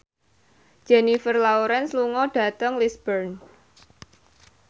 Jennifer Lawrence lunga dhateng Lisburn